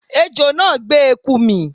Ejò náà gbé eku mì